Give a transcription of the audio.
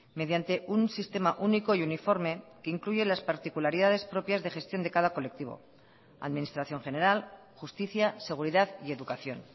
mediante un sistema único y uniforme que incluye las particularidades propias de gestión de cada colectivo administración general justicia seguridad y educación